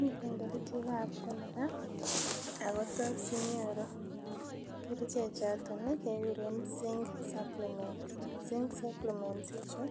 Miten kerchek ab cholera akotos inyoru kerchek choton kekuren zink supplements ako zink supplements Chu